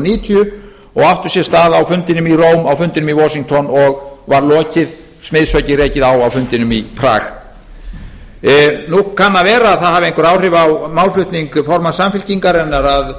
níutíu og átti sér stað á fundinum í róm á fundinum í washington og var smiðshöggið rekið á á fundinum í prag nú kann að vera að það hafi einhver áhrif á málflutning formanns samfylkingarinnar að